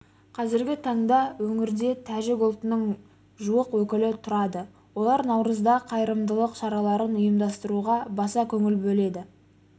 қазіргі таңда өңірде тәжік ұлтының жуық өкілі тұрады олар наурызда қайырымдылық шараларын ұйымдастыруға баса көңіл бөледі